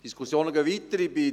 Die Diskussionen gehen weiter.